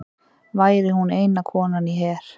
Væri hún eina konan í her